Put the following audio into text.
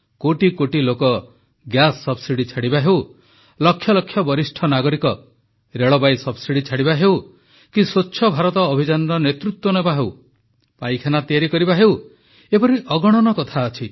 କୋଟିକୋଟି ଲୋକ gas subsidy ଛାଡ଼ିବା ହେଉ ଲକ୍ଷଲକ୍ଷ ବରିଷ୍ଠ ନାଗରିକ ରେଳବାଇ ସବସିଡ଼ି ଛାଡ଼ିବା ହେଉ କି ସ୍ୱଚ୍ଛ ଭାରତ ଅଭିଯାନର ନେତୃତ୍ୱ ନେବା ହେଉ ପାଇଖାନା ତିଆରି କରିବା ହେଉ ଏପରି ଅଗଣନ କଥା ଅଛି